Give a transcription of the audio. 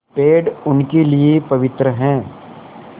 पेड़ उनके लिए पवित्र हैं